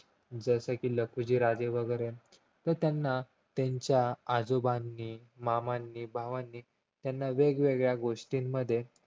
जसे कि लखुजीराजे वगैरे तर त्यांना त्यांच्या आजोबांनी मामांनी भावांनी त्याना वेगवेगळ्या गोष्टीमध्ये